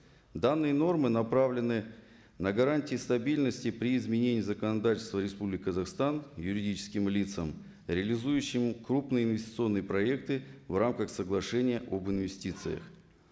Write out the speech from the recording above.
данные нормы направлены на гарантии стабильности при изменении законодательства республики казахстан юридическим лицам реализующему крупные инвестиционные проекты в рамках соглашения об инвестициях